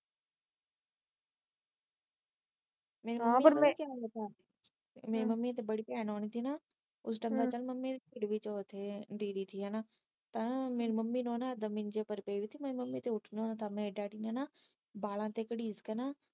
ਮੇਰੀ ਮੰਮੀ ਤਾ ਬੜੀ ਆਉਣੀ ਸੀ ਨਾ ਤੁਸੀ ਤਾ ਮੈ ਕਿਹਾ ਮੰਮੀ ਜ਼ਿੰਦਗੀ ਰੋਲਤੀ ਆ ਦੀਦੀ ਦੀ ਹੇਨਾ ਮੈ ਕਿਹਾ ਮੇਰੀ ਮੰਮੀ ਨੂੰ ਏਦਾਂ ਮੇਰੇ ਡੈਡੀ ਨੇ ਨਾ ਵਾਲਾ ਤੇ ਕਰੀਸ ਕੇ ਨਾ